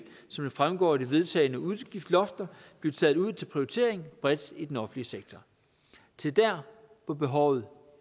som det fremgår af de vedtagne udgiftslofter blive taget ud til prioritering bredt i den offentlige sektor til der hvor behovet